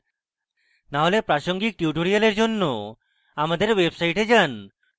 না হলে প্রাসঙ্গিক tutorials জন্য আমাদের website যান